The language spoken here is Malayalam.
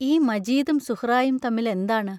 ഈ മജീദും സുഹ്റായും തമ്മിലെന്താണ്?